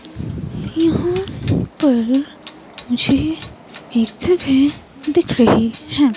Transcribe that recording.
यहां पर मुझे एक जगह दिख रही है।